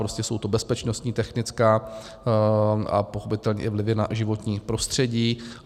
Prostě jsou to bezpečnostní, technická a pochopitelně i vlivy na životní prostředí.